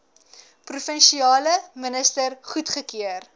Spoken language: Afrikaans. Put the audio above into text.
provinsiale minister goedgekeur